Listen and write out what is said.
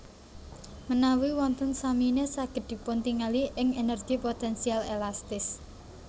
Menawi wonten samine saged dipuntingali ing energi potensial elastis